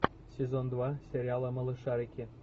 сезон два сериала малышарики